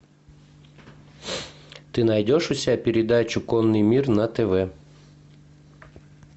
ты найдешь у себя передачу конный мир на тв